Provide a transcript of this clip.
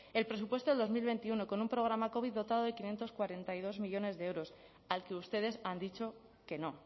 el presupuesto del dos mil veintiuno con un programa covid dotado de quinientos cuarenta y dos millónes de euros al que ustedes han dicho que no